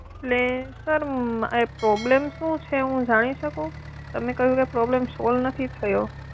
એટલે sir problem શું છે હું જાણી શકું? તમે કહ્યું એમ problem સોલ્વ નથી થયો.